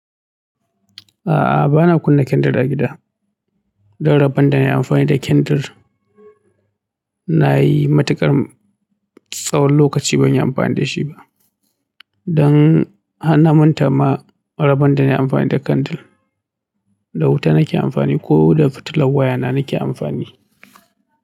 A'a, ba na kunna kyandir a gida. Don rabon da nai amfani da kyandir nayi matukar tsawon lokaci ban yi amfani da shi ba. Don hanna manta ma rabon da nai amfani da kandil, da wuta na ke amfani ko da fitilan wayana na ke amfani.